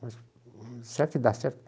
mas será que dá certo?